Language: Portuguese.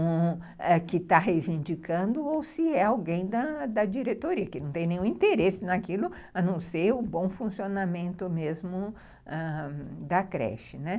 que está reivindicando ou se é alguém da diretoria, que não tem nenhum interesse naquilo, a não ser o bom funcionamento mesmo ãh da creche, né.